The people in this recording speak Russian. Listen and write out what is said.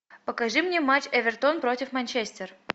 покажи мне матч эвертон против манчестер